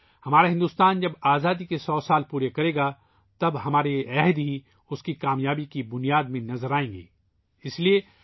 ہمارا بھار ت ، جب آزادی کے 100 سال پورے کرے گا ، تب ہمارے یہ عہد ہی ، اس کی کامیابی کی بنیاد بنیں گے